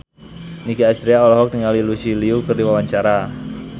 Nicky Astria olohok ningali Lucy Liu keur diwawancara